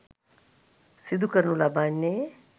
සිදුකරනු ලබන්නේ